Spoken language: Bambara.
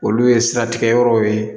Olu ye siratigɛyɔrɔw ye